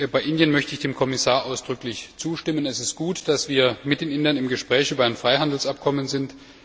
Bei Indien möchte ich dem Kommissar ausdrücklich zustimmen, es ist gut, dass wir mit den Indern im Gespräch über ein Freihandelsabkommen sind.